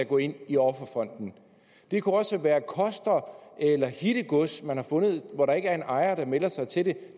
gå ind i offerfonden det kunne også være koster eller hittegods man har fundet og hvor der ikke er en ejer der melder sig til det